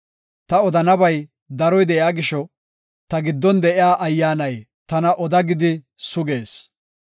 Ta odanabay daroy de7iya gisho, ta giddon de7iya ayyaanay tana oda gidi sugees.